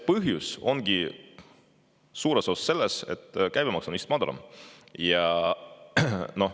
Põhjus ongi suures osas selles, et käibemaks on madalam.